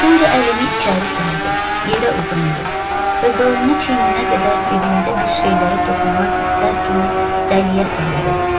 Sonra əlini içəri saldı, yerə uzandı və qolunu çiyininə qədər dibində bir şeylərə toxunmaq istər kimi dəliyə saldı.